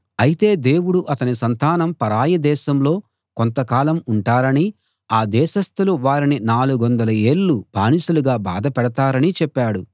అయితే దేవుడు అతని సంతానం పరాయి దేశంలో కొంతకాలం ఉంటారనీ ఆ దేశస్థులు వారిని 400 ఏళ్ళు బానిసలుగా బాధపెడతారనీ చెప్పాడు